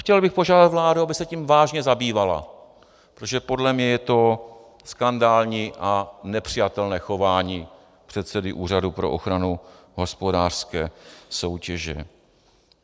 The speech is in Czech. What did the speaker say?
Chtěl bych požádat vládu, aby se tím vážně zabývala, protože podle mě je to skandální a nepřijatelné chování předsedy Úřadu pro ochranu hospodářské soutěže.